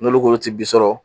N'olu k'olu ti bi sɔrɔ